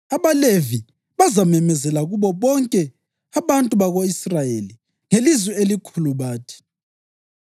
AbaLevi bazamemezela kubo bonke abantu bako-Israyeli ngelizwi elikhulu bathi: